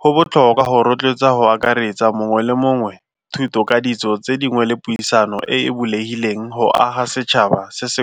Go botlhokwa go rotloetsa go akaretsa mongwe le mongwe thuto ka ditso tse dingwe le puisano e bulegileng go aga setšhaba se se.